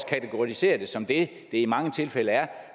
kategorisere det som det det i mange tilfælde er